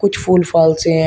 कुछ फूल फाल से है।